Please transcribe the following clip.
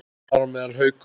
Þar á meðal Haukar.